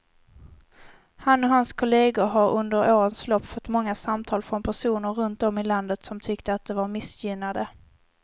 Han och hans kolleger har under årens lopp fått många samtal från personer runt om i landet som tyckte att de var missgynnade.